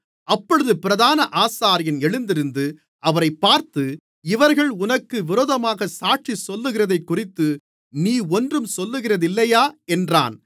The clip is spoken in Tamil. அப்பொழுது பிரதான ஆசாரியன் எழுந்திருந்து அவரைப் பார்த்து இவர்கள் உனக்கு விரோதமாக சாட்சி சொல்லுகிறதைக்குறித்து நீ ஒன்றும் சொல்லுகிறதில்லையா என்றான்